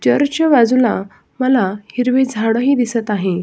चर्चच्या बाजूला मला हिरवी झाड ही दिसत आहे.